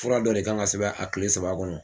Fura dɔ de k'an ka sɛbɛn a kile saba kɔnɔ.